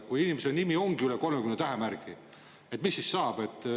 Kui inimese nimi ongi üle 30 tähemärgi, mis siis saab?